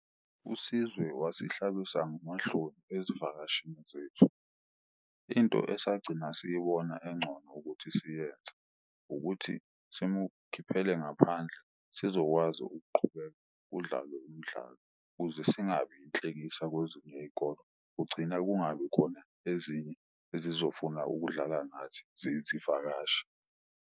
USizwe wasihlabisa ngamahloni ezivakashini zethu, into esagcina siyibona engcono ukuthi siyenze ukuthi simukhiphele ngaphandle sizokwazi ukuqhubeka kudlalwe umdlalo kuze singabi inhlekisa kwezinye iy'kolo. Kugcina kungabi khona ezinye ezizofuna ukudlala nathi ziyizivakashi.